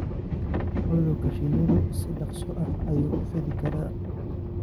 Cudurka shinnidu si dhakhso ah ayuu u fidi karaa.